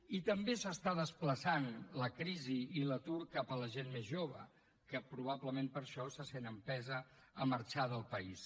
i també s’està desplaçant la crisi i l’atur cap a la gent més jove que probablement per això se sent empesa a marxar del país